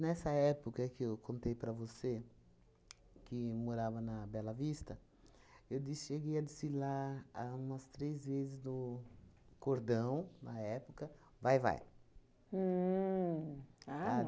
Nessa época que eu contei para você, que morava na Bela Vista, eu de cheguei a desfilar a umas três vezes no cordão, na época, Vai-Vai. Uhn, ah,